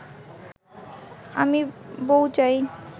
আমি বউ চাই